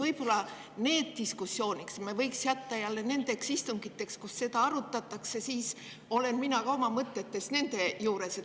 Võib-olla võiks need diskussioonid jätta nendeks istungiteks, kus neid arutatakse, siis olen ka mina oma mõtetega nende juures.